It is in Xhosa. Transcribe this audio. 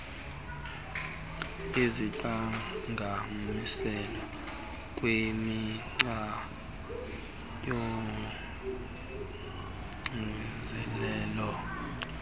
iziqhagamshelo kwimigca yoxinzelelo